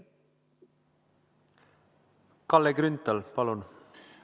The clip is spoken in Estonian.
Kalle Grünthal, palun!